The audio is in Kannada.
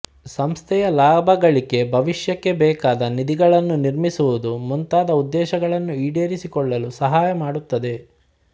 ಸಂಸ್ಥೆಯ ಲಾಭಗಳಿಕೆಭವಿಷ್ಯಕ್ಕೆ ಬೇಕಾದ ನಿಧಿಗಳನ್ನು ನಿರ್ಮಿಸುವುದು ಮುಂತಾದ ಉದ್ದೇಶಗಳನ್ನು ಈಡೇರಿಸಿಕೊಳ್ಳಲು ಸಹಾಯ ಮಾಡುತ್ತದೆ